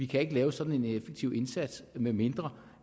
kan lave sådan en effektiv indsats medmindre